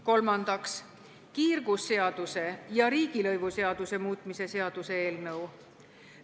Kolmandaks, kiirgusseaduse ja riigilõivuseaduse muutmise seaduse eelnõu.